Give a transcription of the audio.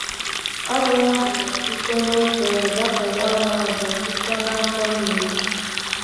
Ọrịa ahụ na - esite n’otu onye gafere n’onye ọzọ site n’asọ mmiri.